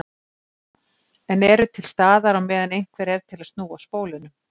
En eru til staðar á meðan einhver er til að snúa spólunum.